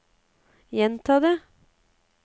gjenta det